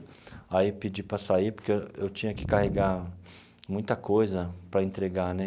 Aí pedi para sair, porque eu eu tinha que carregar muita coisa para entregar né.